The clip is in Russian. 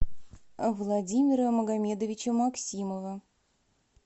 владимира магомедовича максимова